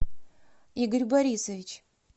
игорь борисович